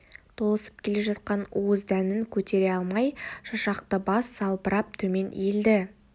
толысып келе жатқан уыз дәнін көтере алмай шашақты бас салбырап төмен иілді